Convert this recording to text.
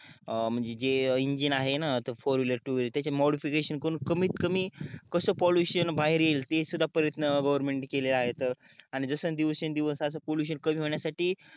अं म्हणजे इंगिन आहे ना फोर विलेर टू विलेर त्याचे मोडीफिकेशन करून त्याचे कमीतकमी कस पॉल्युशन बाहेर येईल ते सुद्धा प्रयत्न गवर्नमेंट नी केले आहेत आणि जस दिवसेन दिवस कमी होण्यासाठी